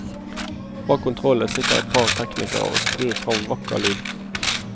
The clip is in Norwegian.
Bak kontrollene sitter et par teknikere og skrur frem vakker lyd.